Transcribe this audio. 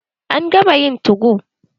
An gama yayin 2go.